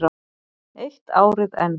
Eitt árið enn.